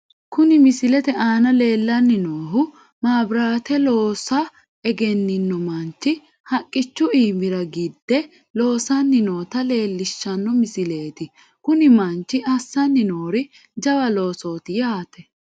Kuni misilete aana leellanni noohu maabiraate loosa egennino manchi haqqichu iimira gidde loosanni noota leellishshanno misileeti , kuni manchi assanni noori jawa loosooti yaate.